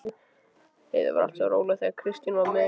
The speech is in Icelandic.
Heiða var alltaf svo róleg þegar Kristín var með henni.